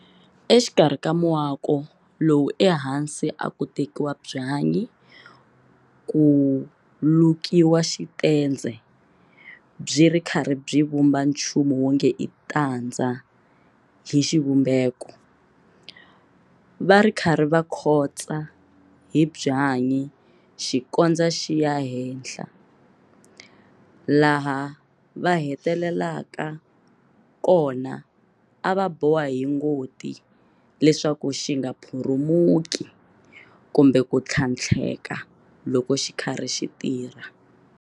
Exikarhi ka muako lowu ehansi a ku tekiwa byanyi ku lukiwa xitendze byi ri karhi byi vumba nchumu wonge i tandza hi xivumbeko, va ri karhi va khotsa hi byanyi xi kondza xi ya hela, laha va hetelelaka kona a va boha hi ngoti leswaku xi nga phurumuki kumbe ku tlhantlheka loko xi ri karhi xi tirha.